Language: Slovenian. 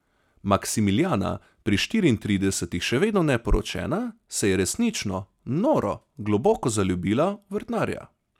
Maksimilijana, pri štiriintridesetih še vedno neporočena, se je resnično, noro, globoko zaljubila v vrtnarja.